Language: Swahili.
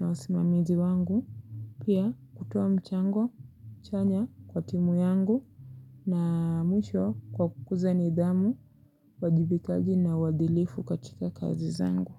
na wasimamizi wangu. Pia hutoa mchango chanya kwa timu yangu na mwisho kwa kukuza nidhamu, wajibikaji na wadhilifu katika kazi zangu.